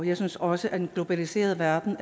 jeg synes også at den globaliserede verden